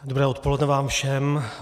Dobré odpoledne vám všem.